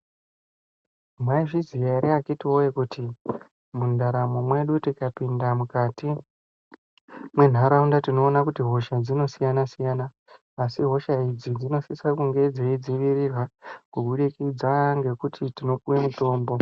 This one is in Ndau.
Mwaizviziya eree akhito woyebkuti mundaramo mwedu tikapinda mukati mwenharaunda tinoona kuti hosha dzinosiyana-siyana asi hosha idzi dzinosisa kunge dzeidzivirirwa kubudikidza ngekuti tinopuwa mitombo.